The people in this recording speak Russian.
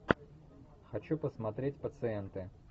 хочу посмотреть пациенты